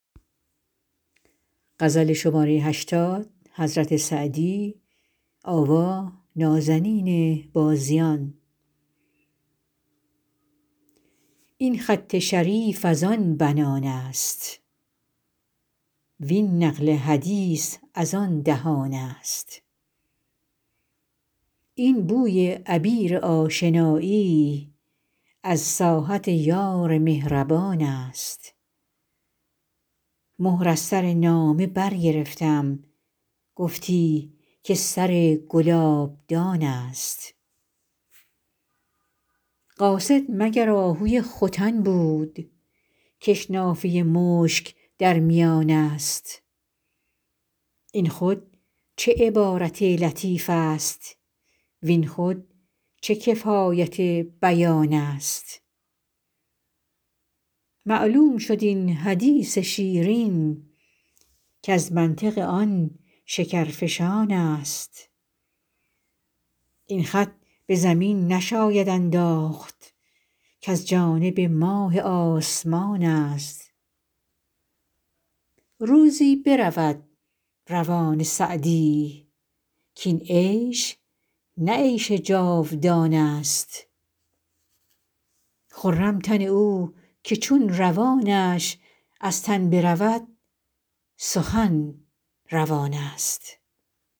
این خط شریف از آن بنان است وین نقل حدیث از آن دهان است این بوی عبیر آشنایی از ساحت یار مهربان است مهر از سر نامه برگرفتم گفتی که سر گلابدان است قاصد مگر آهوی ختن بود کش نافه مشک در میان است این خود چه عبارت لطیف است وین خود چه کفایت بیان است معلوم شد این حدیث شیرین کز منطق آن شکرفشان است این خط به زمین نشاید انداخت کز جانب ماه آسمان است روزی برود روان سعدی کاین عیش نه عیش جاودان است خرم تن او که چون روانش از تن برود سخن روان است